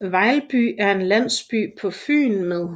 Vejlby er en landsby på Fyn med